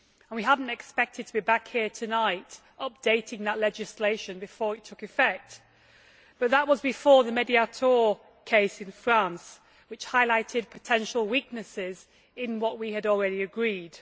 We had not expected to be back here tonight updating that legislation before it took effect, but that was before the Mediator case in France, which highlighted potential weaknesses in what we had already agreed.